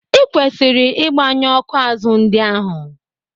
Ị kwesịghị ịgbanyu ọ́kụ́ azụ ndị ahụ.